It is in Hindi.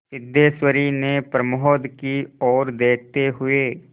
सिद्धेश्वरी ने प्रमोद की ओर देखते हुए